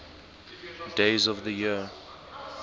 days of the year